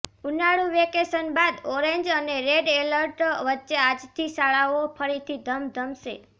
ઉનાળુ વેકેશન બાદ ઓરેન્જ અને રેડ એલર્ટ વચ્ચે આજથી શાળાઓ ફરીથી ધમધમશે